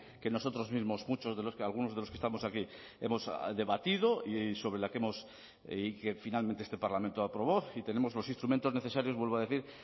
que nosotros mismos muchos de los que algunos de los que estamos aquí hemos debatido y sobre la que hemos y que finalmente este parlamento aprobó y tenemos los instrumentos necesarios vuelvo a decir